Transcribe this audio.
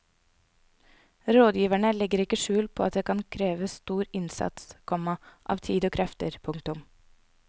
Rådgiverne legger ikke skjul på at det kan kreve stor innsats, komma av tid og krefter. punktum